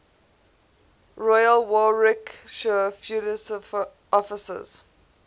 royal warwickshire fusiliers officers